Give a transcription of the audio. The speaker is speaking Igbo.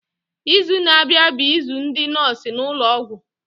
Izu na-abịa bụ izu ndị nọọsụ n'ụlọọgwụ.